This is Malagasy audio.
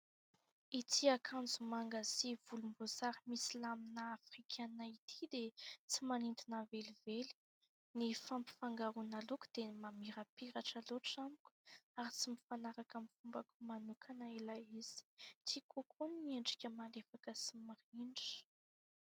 Ity akanjo manga sy volomboasary misy lamina Afrikana ity dia tsy manindry navelively ny fampifangaroana loko dia mamirapiratra loatra moko ary tsy mifanaraka my fombako manokana ila izy ti kokoa ny ny endrika malefaka sy mirindra.